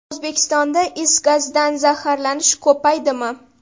O‘zbekistonda is gazidan zaharlanish ko‘paydimi?.